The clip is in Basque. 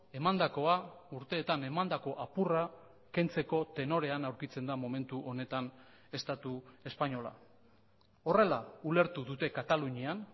emandakoa urteetan emandako apurra kentzeko tenorean aurkitzen da momentu honetan estatu espainola horrela ulertu dute katalunian